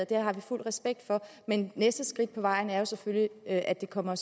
det har vi fuld respekt for men næste skridt på vejen er selvfølgelig at det kommer